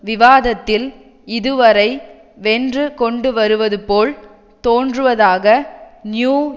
விவாதத்தில் இதுவரை வென்று கொண்டு வருவது போல் தோன்றுவதாக நியூ